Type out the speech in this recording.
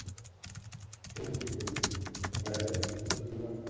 Hildigunnur, hvað heitir þú fullu nafni?